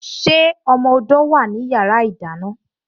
Ṣé ọmọ odó wá ní yàrá ìdáná?